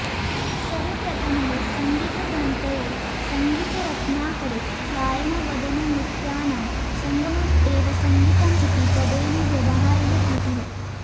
सर्वप्रथमः सङ्गीतग्रन्थए सङ्गीतरत्नाकरे गायनवदननृत्यानां सङ्गमम् एव सङ्गीतम् इति पदेन व्यवहारः कृतः